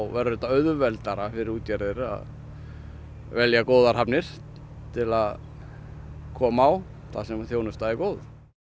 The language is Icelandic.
verður þetta auðveldara fyrir útgerðir að velja góðar hafnir til að koma á þar sem þjónustan er góð